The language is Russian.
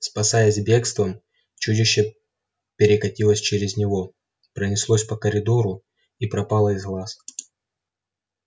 спасаясь бегством чудище перекатилось через него пронеслось по коридору и пропало из глаз